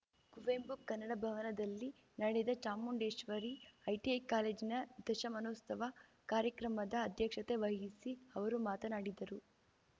ಕುವೆಂಪು ಕನ್ನಡ ಭವನದಲ್ಲಿ ನಡೆದ ಚಾಮುಂಡೇಶ್ವರಿ ಐಟಿಐ ಕಾಲೇಜಿನ ದಶಮಾನೋತ್ಸವ ಕಾರ್ಯಕ್ರಮದ ಅಧ್ಯಕ್ಷತೆ ವಹಿಸಿ ಅವರು ಮಾತನಾಡಿದರು